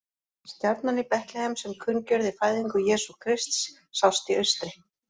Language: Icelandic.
Stjarnan í Betlehem sem kunngjörði fæðingu Jesú Krists, sást í austri: